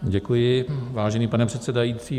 Děkuji, vážený pane předsedající.